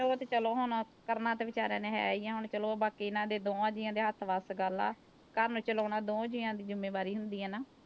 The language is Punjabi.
ਉਹ ਤੇ ਚਲੋ ਹੁਣ ਕਰਨਾ ਤੇ ਵਿਚਾਰਿਆਂ ਨੇ ਹੈ ਹੀ ਆ ਹੁਣ ਚਲੋ ਬਾਕੀ ਇਹਨਾਂ ਦੇ ਦੋਹਾਂ ਜੀਆਂ ਦੇ ਹੱਥ ਵੱਸ ਗੱਲ ਆ, ਘਰ ਨੂੰ ਚਲਾਉਣਾ ਦੋ ਜੀਆਂ ਦੀ ਜ਼ਿੰਮੇਵਾਰੀ ਹੁੰਦੀ ਆ ਨਾ।